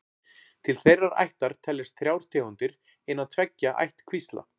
Til þeirrar ættar teljast þrjár tegundir innan tveggja ættkvísla.